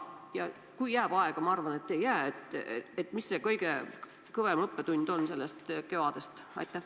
Ja kui jääb aega – ma arvan, et ei jää –, mis see kõige kõvem õppetund on sellest kevadest?